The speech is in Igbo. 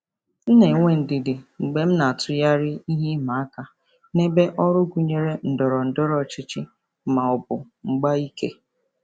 M na-enwe ndidi mgbe m na-atụgharị ihe ịma aka n'ebe ọrụ gụnyere ndọrọ ndọrọ ọchịchị ma ọ bụ mgba ike.